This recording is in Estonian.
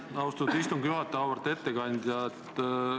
Aitäh, austatud istungi juhataja Auväärt ettekandja!